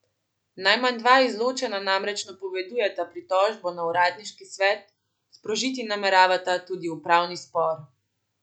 Najmanj dva izločena namreč napovedujeta pritožbo na uradniški svet, sprožiti nameravata tudi upravni spor.